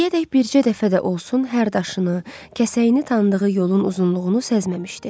İndiyədək bircə dəfə də olsun hər daşını, kəsəyini tanıdığı yolun uzunluğunu səzməmişdi.